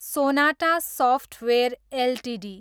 Sonata software Ltd